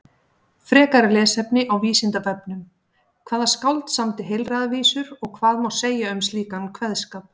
Frekara lesefni á Vísindavefnum: Hvaða skáld samdi heilræðavísur og hvað má segja um slíkan kveðskap?